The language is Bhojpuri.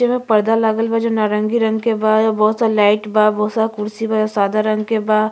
जे में पर्दा लागल बा जो नारंगी के बा। बहुत सारा लाइट बा बहुत सारा कुर्सी बा सादा रंग के बा।